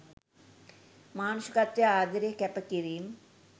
මානුෂිකත්වය ආදරය කැප කිරීම්